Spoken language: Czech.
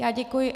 Já děkuji.